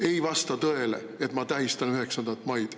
Ei vasta tõele, et ma tähistan 9. maid.